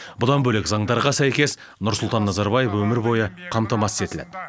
бұдан бөлек заңдарға сәйкес нұрсұлтан назарбаев өмір бойы қамтамасыз етіледі